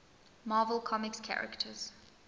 marvel comics characters